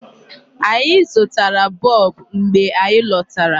Anyi zụtara bulb mgbe anyị lọtara.